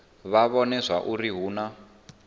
vha vhone zwauri hu na